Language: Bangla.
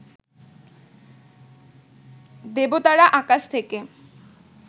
দেবতারা আকাশ থেকে